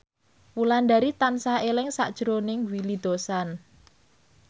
Wulandari tansah eling sakjroning Willy Dozan